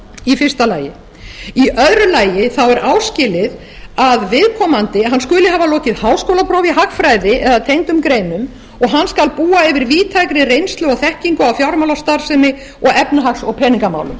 í fyrsta lagi í öðru lagi er áskilið að viðkomandi skuli hafa lokið háskólaprófi í hagfræði eða tengdum greinum og hann skal búa yfir víðtækri reynslu og þekkingu af fjármálastarfsemi og efnahags og peningamálum